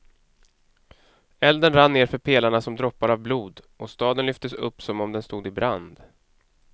Elden rann nerför pelarna som droppar av blod, och staden lyftes upp som om den stod i brand.